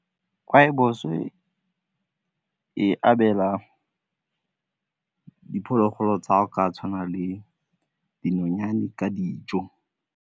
Rooibos e abela diphologolo tsa go ka tshwana le dinonyane ka dijo.